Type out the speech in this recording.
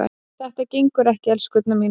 Þetta gengur ekki, elskurnar mínar.